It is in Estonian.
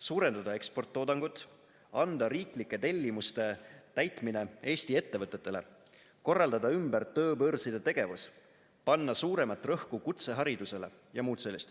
suurendada eksporttoodangut, anda riiklike tellimuste täitmine Eesti ettevõtetele, korraldada ümber tööbörside tegevus, panna suuremat rõhku kutseharidusele ja muud sellist.